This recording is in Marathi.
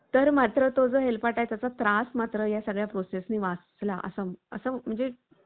तर मात्र तो जो हेलपाटा त्याचा त्रास मात्र या सगळ्या process नी वाचला असं असं म्हणजे.